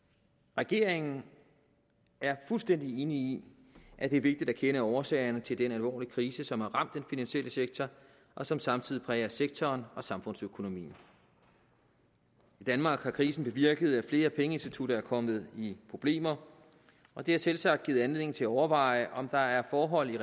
regeringen er fuldstændig enig i at det er vigtigt at kende årsagerne til den alvorlige krise som har ramt den finansielle sektor og som samtidig præger sektoren og samfundsøkonomien i danmark har krisen bevirket at flere pengeinstitutter er kommet i problemer og det har selvsagt givet anledning til at overveje om der er forhold i